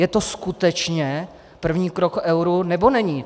Je to skutečně první krok k euru, nebo není?